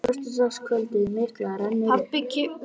Föstudagskvöldið mikla rennur upp.